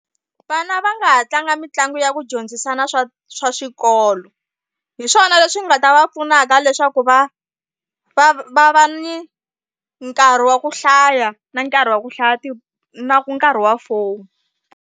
Vana va nga ha tlanga mitlangu ya ku dyondzisana swa swa xikolo hi swona leswi nga ta va pfunaka leswaku va va va va ni nkarhi wa ku hlaya na nkarhi wa ku hlaya ti na nkarhi wa phone.